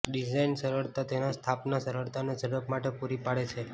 design સરળતા તેના સ્થાપન સરળતા અને ઝડપ માટે પૂરી પાડે છે